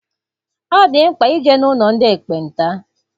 Ọ dị mkpa ije n'ụlọ ndị ekpenta.